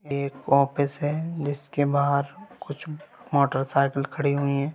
एक ऑफिस है जिसके बाहर कुछ मोटरसाइकिल खड़ी हुई हैं।